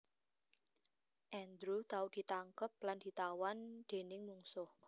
Andrew tau ditangkep lan ditawan déning mungsuh